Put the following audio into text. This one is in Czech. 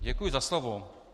Děkuji za slovo.